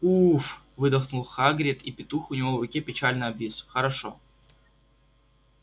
уф выдохнул хагрид и петух у него в руке печально обвис хорошо